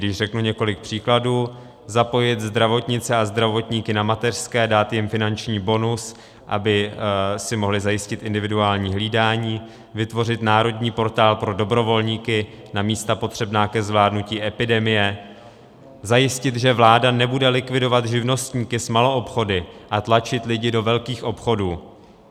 Když řeknu několik příkladů, zapojit zdravotníky a zdravotnice na mateřské, dát jim finanční bonus, aby si mohli zajistit individuální hlídání, vytvořit národní portál pro dobrovolníky na místa potřebná ke zvládnutí epidemie, zajistit, že vláda nebude likvidovat živnostníky s maloobchody a tlačit lidi do velkých obchodů.